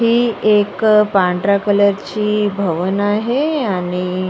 ही एक पांढऱ्या कलरची भवन आहे आणि --